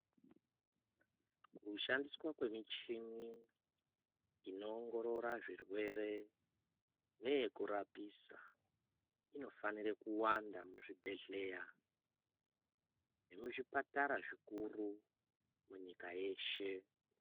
Kushandiswa kwemichini inoongorora zvirwere neyekurapisa inofanirwa kuwanda muzvibhedhlera nemizvipatara zvikuru munyika yeshe.